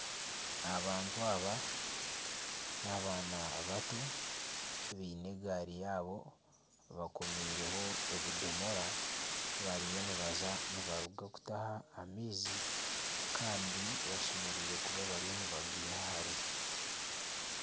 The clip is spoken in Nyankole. Abantu aba n'abaana bato, baine egaari yaabo bakomireho ebidomora ,bariyo nibaruga kutaha amaizi Kandi bashemereire kuba bariyo nibageiha hare.